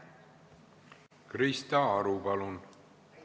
Krista Aru, palun!